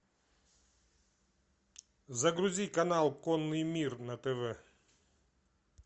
загрузи канал конный мир на тв